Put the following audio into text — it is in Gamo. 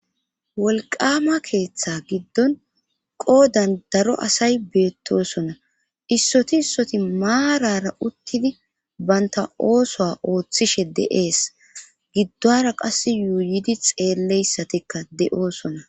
wolqama keeththa giddon qoodan daro asay beettosona issoti issoti maarara uttidi baynta oosoa ooththishe de7ees giddora qas yuuyidi xeelleyssatikka de7oosona